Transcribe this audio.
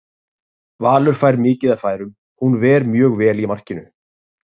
Valur fær mikið af færum, hún ver mjög vel í markinu?